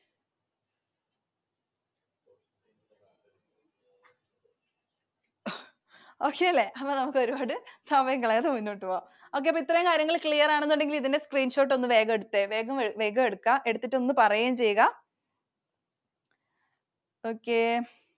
Okay അല്ലെ? അപ്പൊ നമുക്ക് ഒരുപാട് സമയം കളയാതെ മുന്നോട്ട് പോകാം. okay അപ്പോ ഇത്രയും കാര്യങ്ങൾ clear ആണെന്നുണ്ടെങ്കിൽ ഇതിൻറെ screenshot വേഗം എടുത്തേ. വേഗം എടുക്ക. എന്നിട്ട് പറയുകയും ചെയ്യ okay